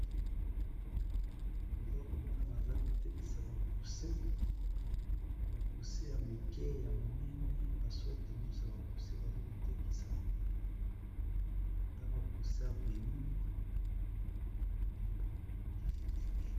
Naza komona baza kotekisa ba coussin ya moke, ya monene basorte nyonso ya ba coussins baza kotekisa na bakuse ya velour.